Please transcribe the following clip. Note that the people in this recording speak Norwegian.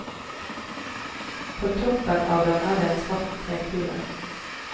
På toppen av den er det en svart trekule.